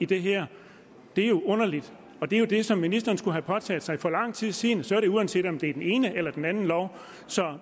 det her det er jo underligt og det er det som ministeren skulle have påtaget sig for lang tid siden uanset om det er den ene eller den anden lov så